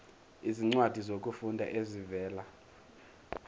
izincwadi zokufunda ezivela